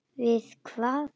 Við hvað?